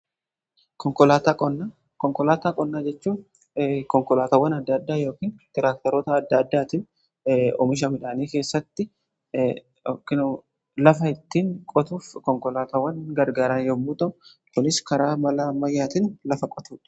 Konkolaataa qonnaa jechuun konkolaatawwan adda addaa yookaan tiraaktaroota adda addaatiin omisha midhaanii keessatti lafa ittiin qotuuf konkolaatawwan gargaran yommuu ta'u kunis karaa malaa ammayyaatiin lafa qotudha.